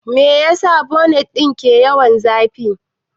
Meyasa bonet ɗin ke yawan zafi?